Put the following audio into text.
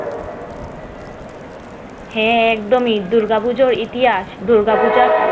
হ্যাঁ একদমই দুর্গাপূজার ইতিহাস দুর্গাপূজা